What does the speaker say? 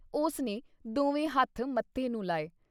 ਉਸ ਨੇ ਦੋਵੇਂ ਹੱਥ ਮੱਥੇ ਨੂੰ ਲਾਏ।